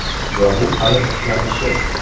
Va bu hali boshlanishi.